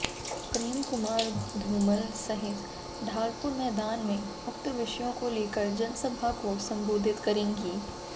प्रेम कुमार धूमल सहित ढालपुर मैदान में उक्त विषयों को लेकर जनसभा को संबोधित करेंगी